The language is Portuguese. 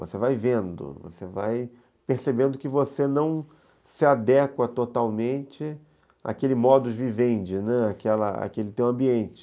Você vai vendo, você vai percebendo que você não se adequa totalmente àquele modus vivendi, né, aquela, àquele teu ambiente.